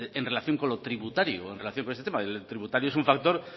en relación con lo tributario en relación con este tema el tributario es un factor